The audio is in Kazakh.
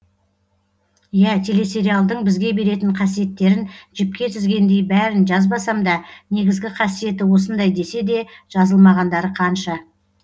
иә телесериалдың бізге беретін қасиеттерін жіпке тізгендей бәрін жазбасамда негізгі қасиеті осындай деседе жазылмағандары қанша